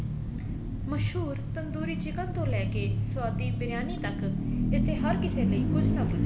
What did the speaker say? ਮਸ਼ਹੂਰ ਤੰਦੂਰੀ chicken ਤੋਂ ਲੈਕੇ ਸਵਾਦੀ ਬਿਰੀਆਨੀ ਤੱਕ ਇੱਥੇ ਹਰ ਕਿਸੇ ਲਈ ਕੁੱਝ ਨਾ ਕੁੱਝ